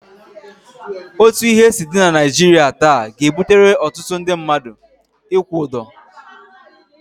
Otu ihe si dị na Naịjirịa taa ga-ebutere ọtụtụ mmadụ ịkwụ ụdọ.